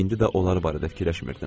İndi də onlar barədə fikirləşmirdim.